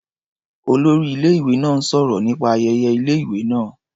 Olórí ilé-ìwé náà ń sọ̀rọ̀ nípa ayẹyẹ ilé-ìwé náá.